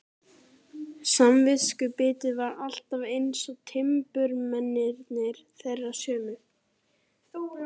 Samviskubitið var alltaf eins, timburmennirnir þeir sömu.